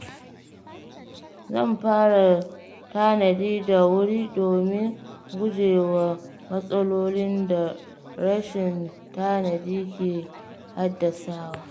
Zan fara tanadi da wuri domin gujewa matsalolin da rashin tanadi ke haddasawa.